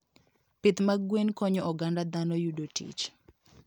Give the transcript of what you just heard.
Pith mag gwen konyo oganda dhano yudo tich.